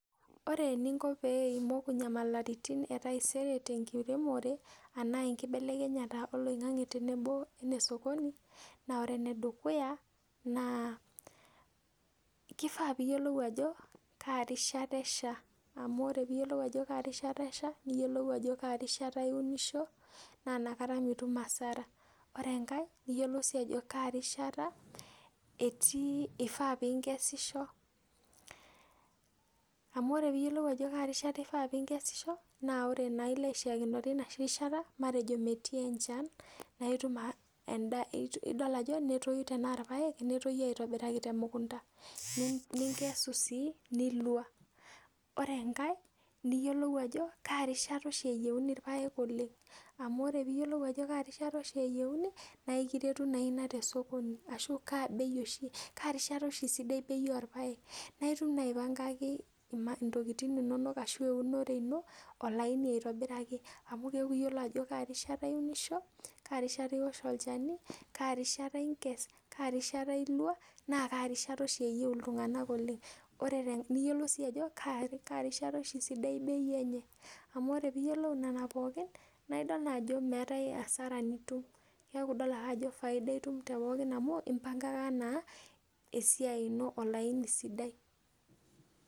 Ore eninko pee imoku inyamalaritin e taisere tenkiremore naa enkibelekenyata o loing'ang'e tenebo ene sokoni naa ore enedukuya naa kifaa piiyiolou ajo kaa rishata esha amu ore piiyiolou ajo kaa rishata esha niyiolou ajo kaa rishata iunisho naa inakata mitum hasara. Ore enkae niyiolou sii ajo kaa rishata etii, ifaa piinkesisho amu ore piiyiolou ajo kaa rishaa ifaa piinkesisho naa ore naa ilo aishiakinore enoshi rishata matejo metii enchan naa endaa, idol ajo netoyu tenaa irpaek netoyu aitobiraki temukunta ninkesu sii nilwa. Ore enkae niyiolou ajo kaa rishata oshi eyieuni irpaek oleng. Amu ore piiyiolou ajo kaa rishata oshi eyieuni naa kiretu naa ina te sokoni ashu kaa bei oshi, kaa rishata oshi sidai bei orpaek naa itum naai aipangaki intokiting inonok ashu eunore ino olaini aitobiraki amu keeku iyiolo ajo kaa rishata iunisho, kaa rishata iwosh olchani, kaa rishata iinkes, kaa rishata ilwa naa kaa rishata oshi eyieu iltung'anak oleng. Ore niyiolou sii ajo kaa rishata oshi sidai bei enye amu ore piiyiolou nena pookin naidol naa ajo meetae hasara nitum. Keeku idol ake ajo faida itum te pookin amu impangaka naa esiai ino olaini sidai